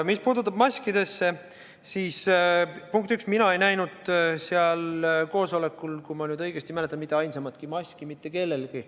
Mis puudutab maske, siis, punkt üks, mina ei näinud seal koosolekul, kui ma nüüd õigesti mäletan, mitte kellelgi mitte ainsamatki maski.